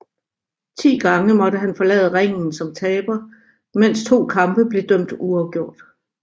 Ti gange måtte han forlade ringen som taber mens 2 kampe blev dømt uafgjort